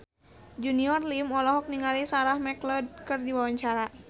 Junior Liem olohok ningali Sarah McLeod keur diwawancara